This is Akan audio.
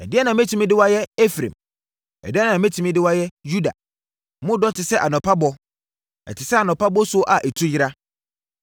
“Ɛdeɛn na mɛtumi de wo ayɛ, Efraim? Ɛdeɛn na mɛtumi de wo ayɛ, Yuda? Mo dɔ te sɛ anɔpa bɔ, ɛte sɛ anɔpa bosuo a ɛtu yera.